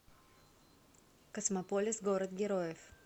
космополис город героев